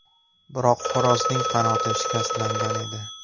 Biroq xo‘rozning qanoti shikastlangan edi.